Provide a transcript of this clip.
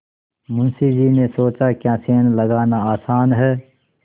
मुंशी जी ने सोचाक्या सेंध लगाना आसान है